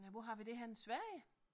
Nej hvor har vi det henne Sverige